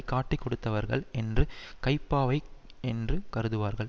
காட்டிக்கொடுத்தவர்கள் என்று கைப்பாவை என்று கருதுவார்கள்